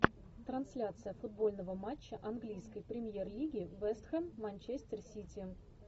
трансляция футбольного матча английской премьер лиги вест хэм манчестер сити